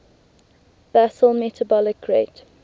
basal metabolic rate